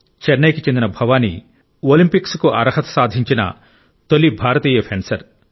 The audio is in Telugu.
చెన్నైకి చెందిన భవాని ఒలింపిక్స్కు అర్హత సాధించిన తొలి భారతీయ ఫెన్సర్